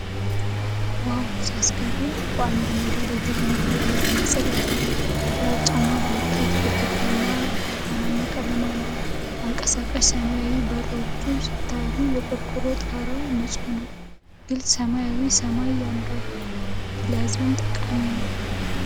ዋው ሲያስገርም! በአንድ ሜዳ ላይ የተገነባ የሕዝብ መጸዳጃ ቤት። ግራጫማ ብሎኬት ግድግዳና ብርቱካናማ ቀለም አለው። አንቀሳቃሽ ሰማያዊ በሮች ሲታዩ! የቆርቆሮ ጣራው ንጹህ ነው። ግልጽ ሰማያዊ ሰማይ ያምራል! ለሕዝብ ጠቃሚ ነው።